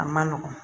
A man nɔgɔn